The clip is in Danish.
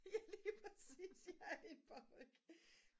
ja lige præcis ja er det en paryk